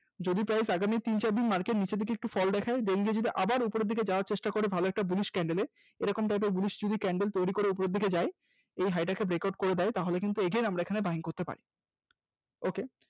যদি price আগামী তিন চার দিন Market নিচের দিকে একটু fall দেখায় then যদি আবার উপরের দিকে যাওয়ার চেষ্টা করে ভালো একটা Bullish candle এ এরকম type এর bullish শুধু candle তৈরি করে ওপরের দিকে যায় ওই high টাকে breakout করে দেয় তাহলে কিন্তু again আমরা এখানে Buying করতে পারি। ok